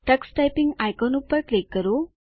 Tux typing icon પર click કરો